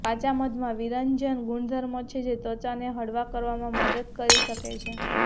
કાચા મધમાં વિરંજન ગુણધર્મો છે જે ત્વચાને હળવા કરવામાં મદદ કરી શકે છે